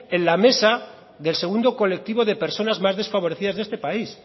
en la mesa del segundo colectivo de personas más desfavorecidas de este país